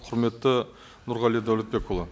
құрметті нұрғали дәулетбекұлы